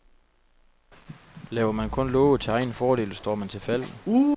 Laver man kun love til egen fordel, står man til fald.